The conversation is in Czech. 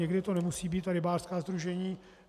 Někdy to nemusí být rybářská sdružení.